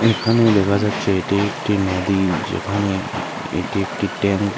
এখানে দেখা যাচ্ছে এটি একটি নদী যেখানে এটি একটি ট্যাংক এ--